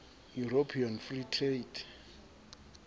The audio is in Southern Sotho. european free trade